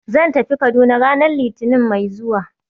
Zan tafi Kaduna ranar Litinin mai zuwa